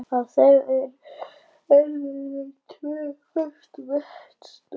Á þeim eru yfirleitt tvö föst vetnisatóm.